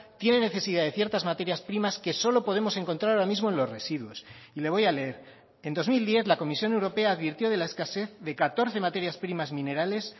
tiene necesidad de ciertas materias primas que solo podemos encontrar ahora mismo en los residuos y le voy a leer en dos mil diez la comisión europea advirtió de la escasez de catorce materias primas minerales